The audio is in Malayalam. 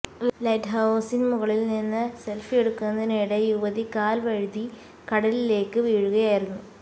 ലൈറ്റ് ഹൌസിന് മുകളില് നിന്ന് സെല്ഫിയെടുക്കുന്നതിനിടെ യുവതി കാല് വഴുതി കടലിലേക്ക് വീഴുകയായിരുന്നു